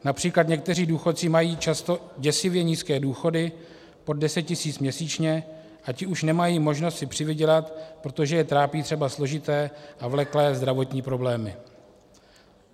Například někteří důchodci mají často děsivě nízké důchody, pod deset tisíc měsíčně, a ti už nemají možnost si přivydělat, protože je trápí třeba složité a vleklé zdravotní problémy.